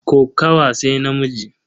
Kokawa sai namiji.